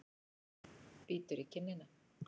Bítur í kinnina.